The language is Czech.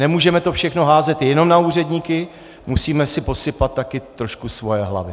Nemůžeme to všechno házet jenom na úředníky, musíme si posypat také trošku svoje hlavy.